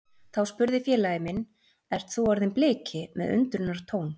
Þá spurði félagi minn Ert þú orðinn Bliki? með undrunartón.